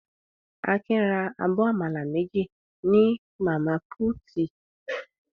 Akin ra abọ́ àmàlà méjì ní màmá púútì.